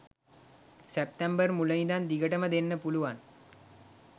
සැප්තැම්බර් මුල ඉඳන් දිගටම දෙන්න පුලුවන්.